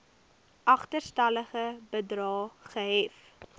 agterstallige bedrae gehef